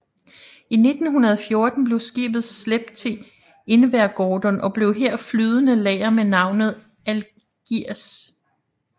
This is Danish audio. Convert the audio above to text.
I 1914 blev skibet slæbt til Invergordon og blev her flydende lager med navnet Algiers